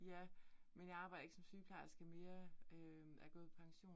Ja, men jeg arbejder ikke som sygeplejerske mere, øh er gået pension